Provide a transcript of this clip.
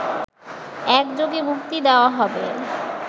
একযোগে মুক্তি দেওয়া হবে